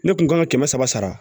Ne kun kan ka kɛmɛ saba sara sara